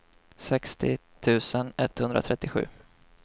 sextio tusen etthundratrettiosju